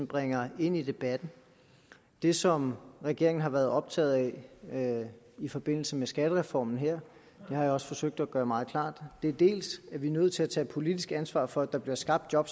bringer ind i debatten det som regeringen har været optaget af i forbindelse med skattereformen her det har jeg også forsøgt at gøre meget klart er at vi er nødt til at tage politisk ansvar for at der bliver skabt job